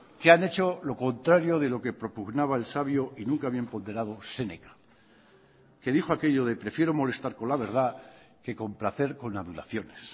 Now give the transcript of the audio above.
que han hecho lo contrario de lo que propugnaba el sabio y nunca bien ponderado séneca que dijo aquello de prefiero molestar con la verdad que complacer con adulaciones